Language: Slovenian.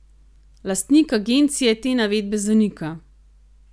Lastnik agencije te navedbe zanika.